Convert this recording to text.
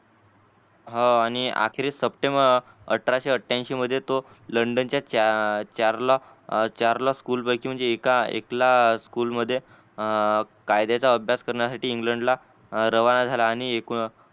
हो आणि आखरी सपटे अठराशे आठ्यानशी मध्ये तो लंडनच्या स्कूल पैकी महणजे एक एकला स्कूल मध्ये कायद्याचा अभ्यास कर्णीसाठी इंग्लंडला रावण झाला आणि